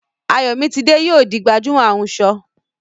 Ayomitide yóò di gbajúmọ̀ ahunṣọ